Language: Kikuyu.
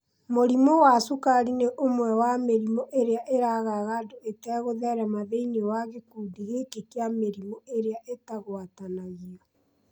Mũrimũ wa cukari nĩ ũmwe wa mĩrimũ ĩrĩa ĩragaga andũ ĩtegũtherema thĩinĩ wa gĩkundi gĩkĩ kĩa mĩrimũ ĩrĩa ĩtagwatanagio